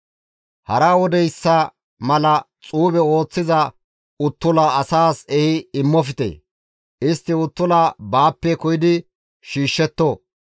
«Hara wodeyssa mala xuube ooththiza uttula asaas ehi immofte; istti uttula baappe koyidi shiishshetto;